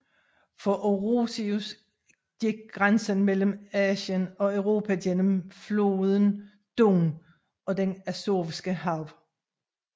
For Orosius gik grænsen mellem Asien og Europa gennem floden Don og det Azovske Hav